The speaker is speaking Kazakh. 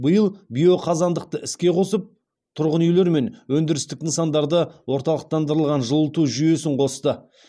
биыл биоқазандықты іске қосып тұрғын үйлер мен өндірістік нысандарды орталықтандырылған жылыту жүйесін қосты